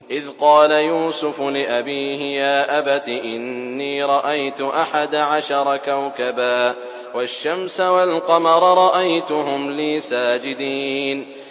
إِذْ قَالَ يُوسُفُ لِأَبِيهِ يَا أَبَتِ إِنِّي رَأَيْتُ أَحَدَ عَشَرَ كَوْكَبًا وَالشَّمْسَ وَالْقَمَرَ رَأَيْتُهُمْ لِي سَاجِدِينَ